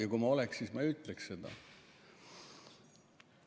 Ja kui ma oleks, siis ma ei ütleks seda.